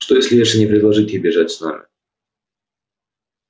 что если эшли не предложит ей бежать с ним